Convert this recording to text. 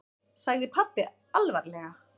sagði pabbi alvarlega.